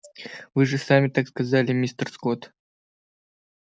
вы же сами так сказали мистер скотт